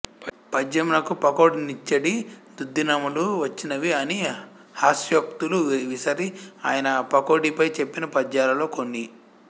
పద్యమునకు పకోడినిచ్చెడి దుర్దినములు వచ్చినవి అని హాస్యోక్తులు విసరి ఆయన పకోడిపై చెప్పిన పద్యాలలో కొన్ని